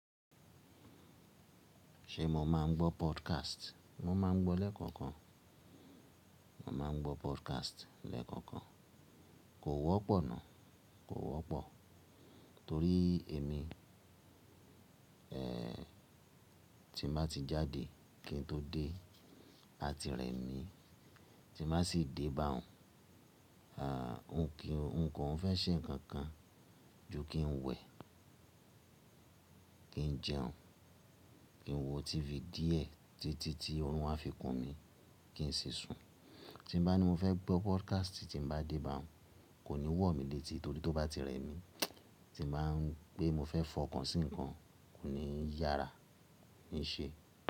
Ṣé mo máa ń gbọ́ podcast? Mo máa ń gbọ́ lẹ́ẹ̀kọ̀kan. Mo máa ń gbọ́ podcast lẹ́ẹ̀kọ̀kan. Kò wọ́pọ̀ ná. Kò wọ́pọ̀ torí èmi, ẹ́, tí mo bá ti jáde kí n tó dé, á ti rẹ̀ mí. Tí mo bá sì dé bá òun, á, òun kí òun kọ̀ ń fẹ́ ṣe ǹkan kan ju kí n wẹ̀, kí n jẹun, kí n wo TV díẹ̀ títí tí ọrùn a fi kùn mí kí n sì sùn. Tí bá ní mo fẹ́ gbọ́ podcast tí n bá dé bá òun, kò ní wọ̀ mí létí torí tó bá ti rẹ̀ mí. Tí n bá ń pé mo fẹ́ fọ̀ ọ̀kan sí ìkan, kò ní yára ní í ṣe.